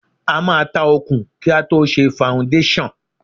A máa ta òkun kí a tó ṣe faundéṣàn.